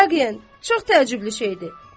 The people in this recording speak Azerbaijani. Vaqean, çox təəccüblü şeydir.